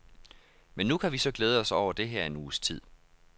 Men nu kan vi så glæde os over det her en uges tid.